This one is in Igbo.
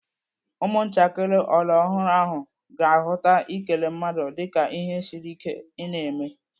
Ụmụntakịrị ọlọrọọhụrụ ahụ ga-ahụta ikele mmadu dịka ihe siri ike ị na-eme.